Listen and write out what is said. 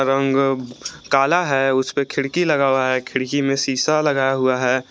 रंग काला है उसपे खिड़की लगा हुआ है खिड़की में शीशा लगा हुआ है।